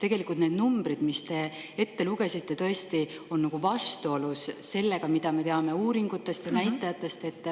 Tegelikult need numbrid, mis te ette lugesite, on tõesti vastuolus sellega, mida me uuringute ja näitajate põhjal teame.